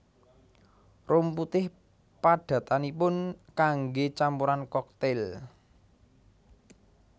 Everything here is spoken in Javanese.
Rum putih padatanipun kanggé campuran koktail